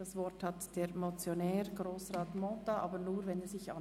Das Wort hat der Motionär, Grossrat Mentha.